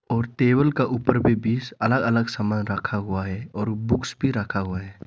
और टेबल का ऊपर भी बीस अलग अलग सामान रखा हुआ है और बुक्स भी रखा हुआ है।